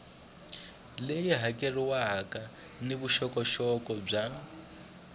leyi hakeriwaka ni vuxokoxoko bya